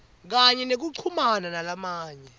kanye nekuchumana nalamanye